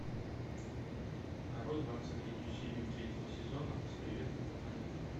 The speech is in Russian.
нарой двадцать третью серию третьего сезона с приветом по планетам